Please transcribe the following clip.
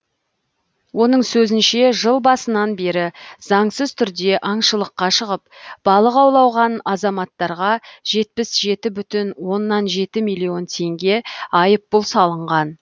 оның сөзінше жыл басынан бері заңсыз түрде аңшылыққа шығып балық аулаған азаматтарға жетпіс жеті бүтін оннан жеті миллион теңге айыппұл салынған